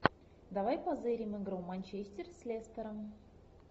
давай позырим игру манчестер с лестером